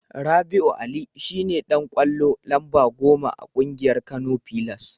Rabi'u Ali shine Dan ƙwallo lamba goma a ƙungiyar Kano pillars.